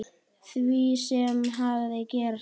Því sem hafði gerst.